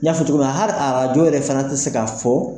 N ɲa fɔ cogo min na hali arjo yɛrɛ fana tɛ se k'a fɔ.